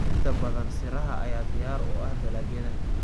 Inta badan siraha ayaa diyaar u ah dalagyada.